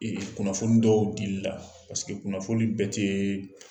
Ee kunnafoni dɔw dili la kunnafoni bɛɛ tɛ